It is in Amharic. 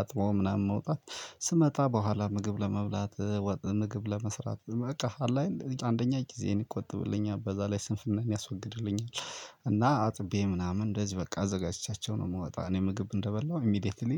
አጥቦ ምናምን መውጣት፣ ስመጣ በኋላ ምግብ ለመብላት ወጥን ምግብ ለመስራት በቃ አለ አይደል፣ አንደኛ ጊዜዬን ይቆጥብልኛል፤ በዛ ላይ ስንፍናዬን ያስወግድልኛል። እና አጥቤ ምናምን እንደዚሁ በቃ አዘጋጅቻቸው ነው የምወጣው። እኔ ምግብ እንደበላው ኢሚዲየትሊ